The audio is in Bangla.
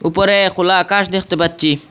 উপরে খোলা আকাশ দেখতে পাচ্ছি।